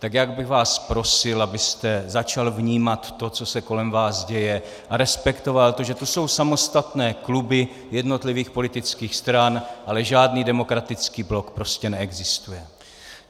Tak já bych vás prosil, abyste začal vnímat to, co se kolem vás děje, a respektoval to, že jsou tu samostatné kluby jednotlivých politických stran, ale žádný Demokratický blok prostě neexistuje.